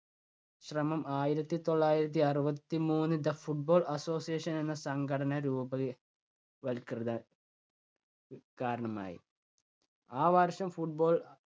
ശ്രമം ആയിരത്തി തൊള്ളായിരത്തി അറുപത്തി മൂന്ന് ദ ഫുട്ബോൾ അസോസിയേഷൻ എന്ന സംഘടന രൂപവൽ~വൽകൃത കാരണമായി. ആ വർഷം football